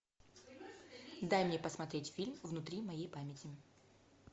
дай мне посмотреть фильм внутри моей памяти